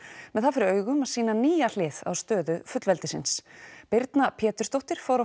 með það fyrir augum að sýna nýja hlið á stöðu fullveldisins birna Pétursdóttir fór á